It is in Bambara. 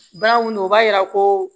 Bana mun o b'a yira ko